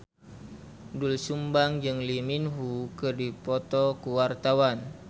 Doel Sumbang jeung Lee Min Ho keur dipoto ku wartawan